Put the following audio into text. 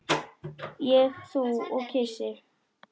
Ég, þú og kisi.